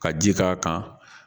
Ka ji k'a kan